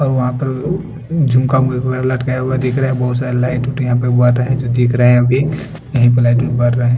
और वहां पर उम झुमका बुलबुला लटकाया हुआ दिख रहा है बहोत सारी लाइट तो टी यहाँ पे वो वाला हैं जो दिख रहे हैं अभी--